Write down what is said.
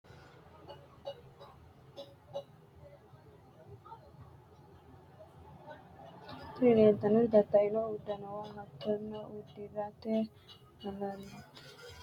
Tini leleitanoti tataino udunuwa haatono udirate halalite bainore ajinishe udirate horonisinannite qoleno sufanohu woyi kone looso losanohu harena agadiho manati